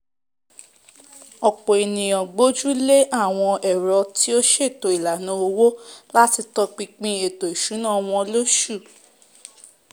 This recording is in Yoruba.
ọ̀pọ̀ ènìyàn gbójú lé àwọn ẹ̀rọ tí ó sètò ìlànà owó láti tọ pinpin ètò ìsúná wọn lósù